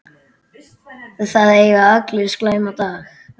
Það eiga allir slæma daga.